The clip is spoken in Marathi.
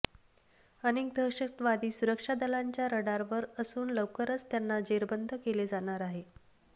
अनेक दहशतवादी सुरक्षा दलांच्या रडारवर असून लवकरच त्यांना जेरबंद केले जाणार आहे